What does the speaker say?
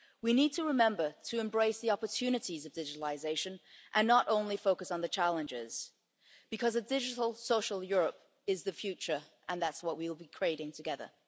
We need to remember to embrace the opportunities of digitalisation and not only focus on the challenges, because a digital social Europe is the future and that's what we will be creating together.